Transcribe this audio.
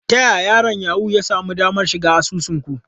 Ta yaya yaron Yahoo ya sami damar shiga asusun ku?